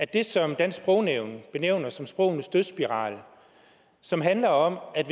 det som dansk sprognævn benævner som sprogenes dødsspiral som handler om at